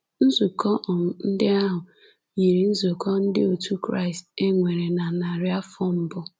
Nzukọ um ndị ahụ yiri nzukọ ndị otu Kraịst e nwere na narị afọ mbụ.